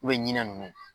ɲina nunnu